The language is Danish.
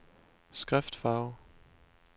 skriftfarve